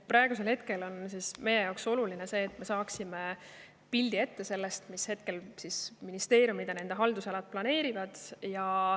Praegusel hetkel on meie jaoks oluline see, et me saaksime ette pildi, mida ministeeriumid ja nende haldusalad planeerivad.